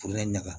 Foro in ɲaga